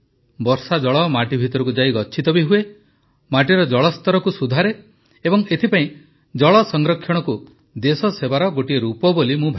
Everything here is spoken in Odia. ବର୍ଷାଜଳ ମାଟି ଭିତରକୁ ଯାଇ ଗଚ୍ଛିତ ବି ହୁଏ ମାଟିର ଜଳସ୍ତରକୁ ସୁଧାରେ ଏବଂ ଏଥିପାଇଁ ଜଳ ସଂରକ୍ଷଣକୁ ଦେଶସେବାର ଗୋଟିଏ ରୂପ ବୋଲି ମୁଁ ଭାବେ